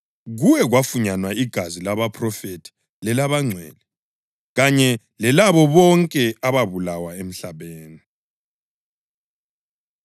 Kuwe kwafunyanwa igazi labaphrofethi lelabangcwele, kanye lelabo bonke ababulawayo emhlabeni.”